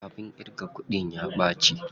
Abin ƙirga kuɗin ya ɓaci.